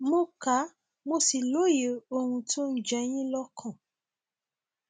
mo ka mo sì lóye ohun tó ń jẹ yín lọkàn